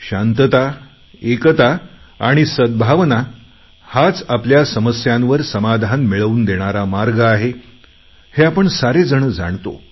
शांतताएकता आणि सद्भावना हाच आपल्या समस्यांवर समाधान मिळवून देणारा मार्ग आहे हे आपण सारेजण जाणतो